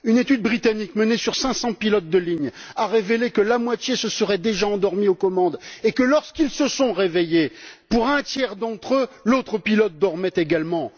Une étude britannique, menée auprès de 500 pilotes de ligne, a révélé que la moitié se seraient déjà endormis aux commandes et que, lorsqu'ils se sont réveillés, pour un tiers d'entre eux, l'autre pilote dormait également.